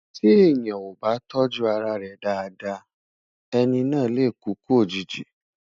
tí èèyàn ọ bá tójú ará rè Dàda, ẹni nà lẹ kúkú òjìji